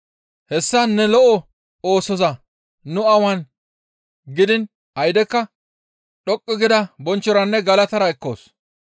«Hessa ne lo7o oosoza nu awan gidiin aydekka dhoqqu gida bonchchoranne galatara ekkoos.